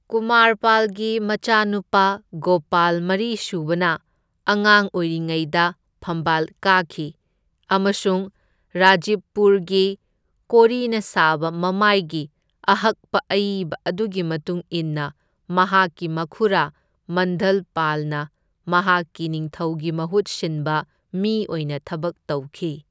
ꯀꯨꯃꯥꯔꯄꯥꯜꯒꯤ ꯃꯆꯥꯅꯨꯄꯥ ꯒꯣꯄꯥꯜ ꯃꯔꯤꯁꯨꯕꯅ ꯑꯉꯥꯡ ꯑꯣꯏꯔꯤꯉꯩꯗ ꯐꯝꯕꯥꯜ ꯀꯥꯈꯤ ꯑꯃꯁꯨꯡ ꯔꯥꯖꯤꯕꯄꯨꯔꯒꯤ ꯀꯣꯔꯤꯅ ꯁꯥꯕ ꯃꯃꯥꯏꯒꯤ ꯑꯍꯛꯄ ꯑꯏꯕ ꯑꯗꯨꯒꯤ ꯃꯇꯨꯡ ꯏꯟꯅ ꯃꯍꯥꯛꯀꯤ ꯃꯈꯨꯔꯥ ꯃꯗꯟꯄꯥꯜꯅ ꯃꯍꯥꯛꯀꯤ ꯅꯤꯡꯊꯧꯒꯤ ꯃꯍꯨꯠ ꯁꯤꯟꯕ ꯃꯤ ꯑꯣꯏꯅ ꯊꯕꯛ ꯇꯧꯈꯤ꯫